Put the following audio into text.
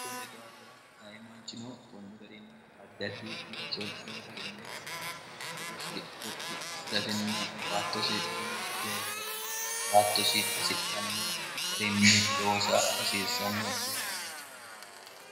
onni daafira ayimaanchino konni garinni addaddi looso loosatenne eosi gotti assi'rasinna baattosi uma leellifate baattosi hasidhanno garinni loosa hasiirsanno dihaate